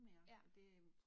Ja